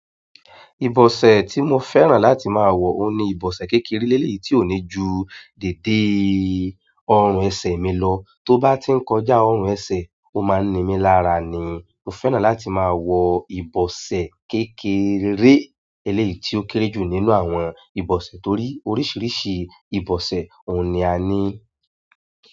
Ìbọ̀sẹ̀ tí mo fẹ́ràn láti máa wọ̀ óun ní ìbọ̀sẹ̀ kékeré léleyìí tí ó ní ju dède ọrùn ẹsẹ̀ mi lọ. Tó bá ti ń kọjá ọrùn ẹsẹ̀, ó máa ń ni mí lára ní. Mo fẹ́ràn láti máa wọ ìbọ̀sẹ̀ kékeré eléyìí tí ó kéré jù nínú àwọn ìbọ̀sẹ̀ torí oríṣiríṣi ìbọ̀sẹ̀ òun ni a ní.